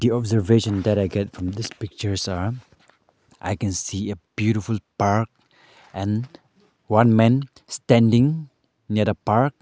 The observation that I get from this pictures are I can see a beautiful park and one men standing near a park.